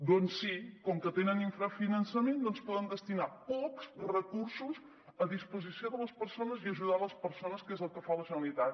doncs sí com que tenen infrafinançament poden destinar pocs recursos a disposició de les persones i a ajudar les persones que és el que fa la generalitat